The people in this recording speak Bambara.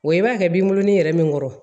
Wa i b'a kɛ binkurunin yɛrɛ min kɔrɔ